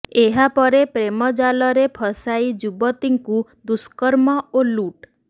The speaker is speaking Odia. ଏହା ପରେ ପ୍ରେମ ଜାଲରେ ଫସାଇ ଯୁବତୀଙ୍କୁ ଦୁଷ୍କର୍ମ ଓ ଲୁଟ୍